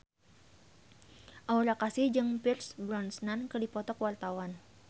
Aura Kasih jeung Pierce Brosnan keur dipoto ku wartawan